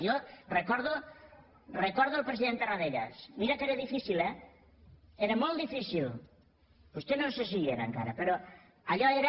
jo recordo el president tarradellas mira que era difícil eh era molt difícil vostè no sé si hi era encara però allò era